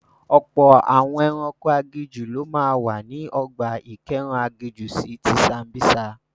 Ọ̀pọ̀ àwọn ẹranko aginjù ló máa wà ní ọgbà ìkóẹranko aginjù si ti Sambisa..